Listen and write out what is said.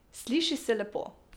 Sliši se lepo.